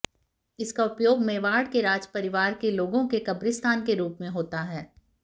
इसका उपयोग मेवाड़ के राजपरिवार के लोगों के कब्रिस्तान के रूप में होता है